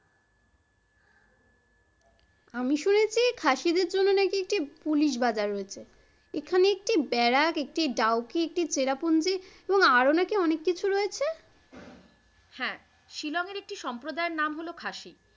আমি শুনেছি খাসিদের জন্য নাকি একটি পুলিশ বাজার রয়েছে, এখানে একটি বেরাক একটি ডাউকি একটি চেরাপুঞ্জি এবং আরো নাকি অনেক কিছু রয়েছে? হ্যাঁ শিলং এর একটি সম্প্রদায়ের নাম হলো খাসি।